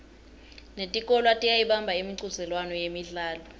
netikolwa tiyayibamba imicudzelwano yemidlalo